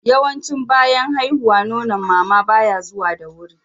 yawanci bayan haihuwa Nonon mama baya zuwa da wuri